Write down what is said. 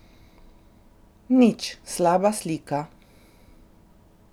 Nič, slaba slika.